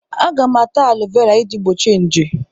Aga m ata alọvera iji gbochie nje.